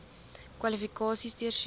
kwalifikasies deursoek